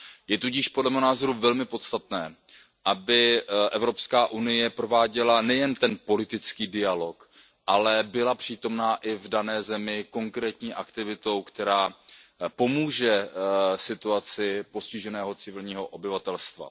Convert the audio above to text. Je tudíž podle mého názoru velmi podstatné, aby EU prováděla nejen ten politický dialog, ale byla přítomna i v dané zemi konkrétní aktivitou, která pomůže situaci postiženého civilního obyvatelstva.